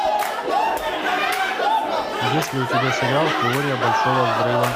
есть ли у тебя сериал теория большого взрыва